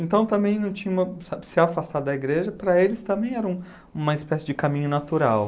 Então, também não tinha uma... Se afastar da igreja, para eles também era um uma espécie de caminho natural.